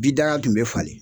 Bidaga tun bɛ falen.